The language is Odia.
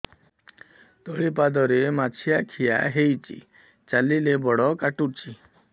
ତଳିପାଦରେ ମାଛିଆ ଖିଆ ହେଇଚି ଚାଲିଲେ ବଡ଼ କାଟୁଚି